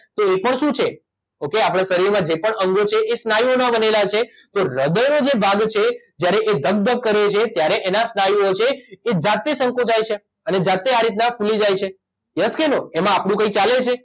તો એ પણ શું છે ઓકે આપણા શરીરમાં જે પણ અંગો છે એ સ્નાયુઓના બનેલા છે તો હ્રદયનો જે ભાગ છે જ્યારે એ ધક ધક કરે છે ત્યારે એના સ્નાયુઓ છે એ જાતે સંકોચાય છે અને જાતે આ રીતના ખુલી જાય છે યસ કે નો એમાં આપણું કંઇ ચાલે છે